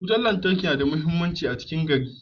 Wutar lantarki na da matukar muhimmanci ga ci garin.